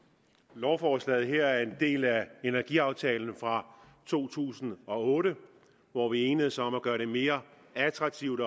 lovforslaget er en del af energiaftalen fra to tusind og otte hvor vi enedes om at gøre det mere attraktivt